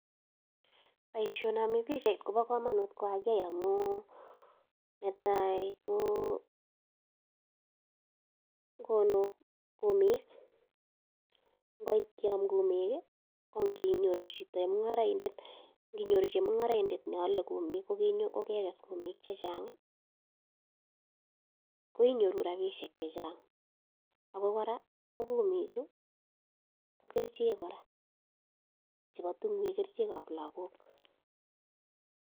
Poishonami pichait ko pa kamanut ko kakiai amu ne tai ko, konu kumiik .Ngoit ke am kumiik i, ko nginyoru chito, chemung'araindet, ne ale kumiik ko kekes kumiik che chang' i, ko inyoru rapishek che chang'. Ako kora ko kumichu ko kerichek kora chepo tung'wek, kerichek ap lagok.